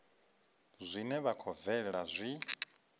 zwine zwa khou bvelela zwi